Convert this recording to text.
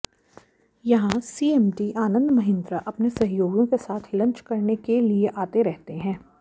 यहां सीएमडी आनंद महिन्द्रा अपने सहयोगियों के साथ लंच करने के लिए आते रहते हैं